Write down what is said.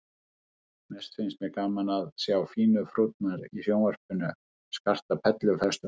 Mest finnst mér gaman að sjá fínu frúrnar í sjónvarpinu skarta perlufestum frá